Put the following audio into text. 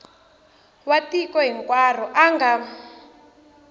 wa tiko hinkwaro a nga